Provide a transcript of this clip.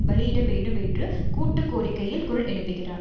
பலியிட வேண்டும் என்று கூட்டு கோரிக்கையில் குரல் எழுப்புகிறார்